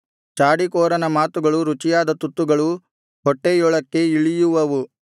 ಚಾಡಿಕೋರನ ಮಾತುಗಳು ರುಚಿಯಾದ ತುತ್ತುಗಳು ಹೊಟ್ಟೆಯೊಳಕ್ಕೇ ಇಳಿಯುವವು